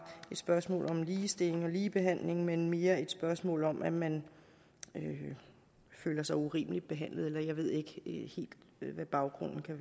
et spørgsmål om ligestilling og ligebehandling men mere et spørgsmål om at man føler sig urimeligt behandlet eller jeg ved ikke helt hvad baggrunden kan